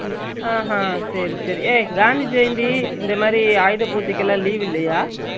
அஹான் சேரி சேரி ஏய் காந்தி ஜெயந்தி இந்த மாதிரி ஆயுத பூஜைக்கு எல்ல leave இல்லையா